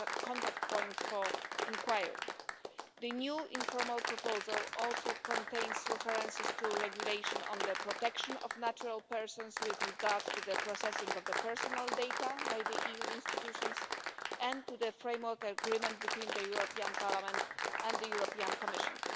contact point for inquiry. The new informal proposal also contains references to the regulation on the protection of natural persons with regard to the processing of personal data by EU institutions, and to the framework agreement between the European Parliament and the European Commission.